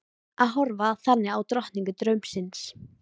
Að horfa þannig á drottningu draumsins.